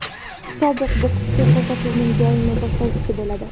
Sobiq bokschi ko‘rsatuvning doimiy boshlovchisi bo‘ladi.